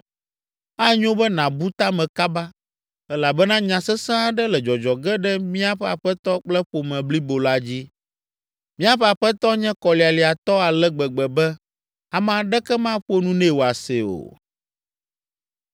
Anyo be nàbu ta me kaba, elabena nya sesẽ aɖe le dzɔdzɔ ge ɖe míaƒe aƒetɔ kple ƒome blibo la dzi. Míaƒe aƒetɔ nye kɔlialiatɔ ale gbegbe be ame aɖeke maƒo nu nɛ wòase o.”